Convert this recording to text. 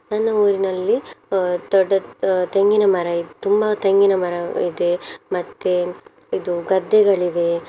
ನನ್ನ ಊರಿನಲ್ಲಿ ಅಹ್ ದೊಡ್ಡ ಅಹ್ ತೆಂಗಿನ ಮರ ಇದ್~ ತುಂಬಾ ತೆಂಗಿನ ಮರ ಇದೆ ಮತ್ತೆ ಇದು ಗದ್ದೆಗಳಿವೆ.